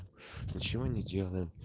ничего не делаем